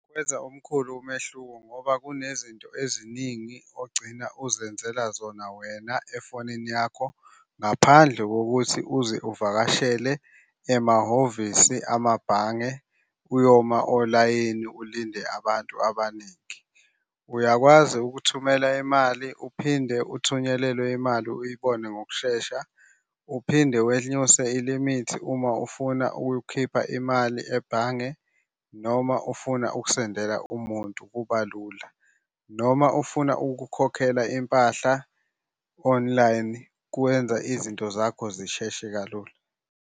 Kwenza omkhulu umehluko ngoba kunezinto eziningi ogcina uzenzela zona wena efonini yakho ngaphandle kokuthi uze uvakashele emahhovisi amabhange, uyoma olayini ulinde abantu abaningi. Uyakwazi ukuthumela imali uphinde uthunyelelwe imali uyibone ngokushesha. Uphinde wenyuse ilimithi uma ufuna ukukhipha imali ebhange noma ufuna ukusendela umuntu kuba lula, noma ufuna ukukhokhela impahla online, kwenza izinto zakho zisheshe kalula.